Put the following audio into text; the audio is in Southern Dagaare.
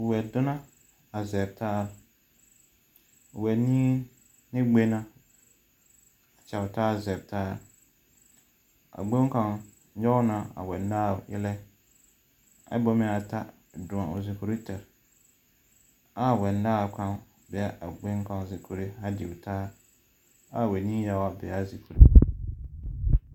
Wɛdonni la zɔɔrɔ taa, wɛnii ne gbaŋma la kyage taa zɔɔrɔ taa a gbaŋni kaŋa nɔŋ la a wɛnaao eelɛ taa kyɛ ka ata doge o zuure poɔ taa kaa wɛnaao kaŋa dee a gbaŋni kaŋa zoori taa kyɛ kaa wɛnii yaŋa be a be.